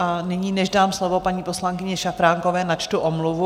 A nyní, než dám slovo paní poslankyni Šafránkové, načtu omluvu.